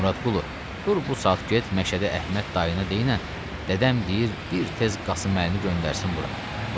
Muradqulu, dur bu saat get Məşədə Əhməd dayına deynən, dədəm deyir bir tez Qasım Əlini göndərsin bura.